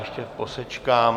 Ještě posečkám.